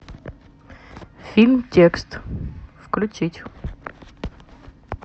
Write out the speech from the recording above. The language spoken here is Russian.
фильм текст включить